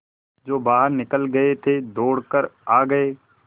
जो बाहर निकल गये थे दौड़ कर आ गये